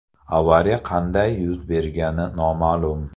Avariya qanday yuz bergani noma’lum.